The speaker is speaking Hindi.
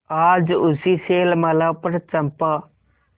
आज उसी शैलमाला पर चंपा